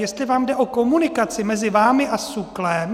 Jestli vám jde o komunikaci mezi vámi a SÚKL?